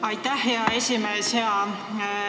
Aitäh, hea esimees!